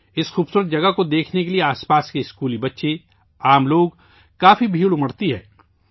اس خوبصورت جگہ کو دیکھنے کے لئے آس پاس کے اسکولی بچے، عام شہری کافی بھیڑ جمع ہوتی ہے